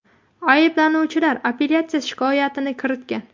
Ayblanuvchilar apellyatsiya shikoyatini kiritgan.